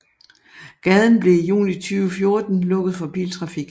Gaden blev i juni 2014 lukket for biltrafik